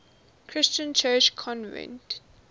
christian church convened